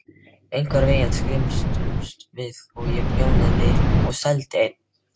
Einhvern veginn skrimtum við og ég prjónaði og seldi ein